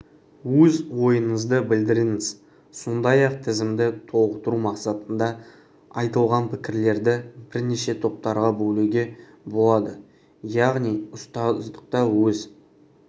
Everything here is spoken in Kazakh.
өз ойыңызды білдіріңіз сондай-ақ тізімді толықтыру мақсатында айтылған пікірлерді бірнеше топтарға бөлуге болады яғни ұстаздықта өз